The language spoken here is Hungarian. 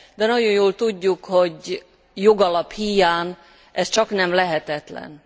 De nagyon jól tudjuk, hogy jogalap híján ez csaknem lehetetlen.